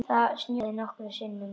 Það snjóaði nokkrum sinnum.